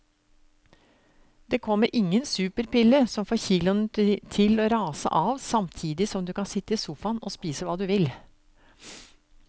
Det kommer ingen superpille som får kiloene til å rase av samtidig som du kan sitte i sofaen og spise hva du vil.